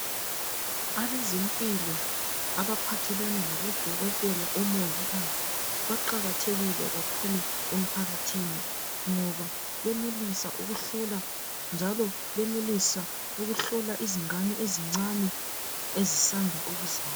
abezempilo abaphathelana labo dokotela labo mongikazi baqakathekile kakhulu emphakathini ngoba benelisa ukuhlola njalo benelisa ukuhlola izingane ezincane ezisanda ukuzalwa